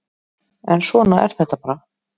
En svona er þetta bara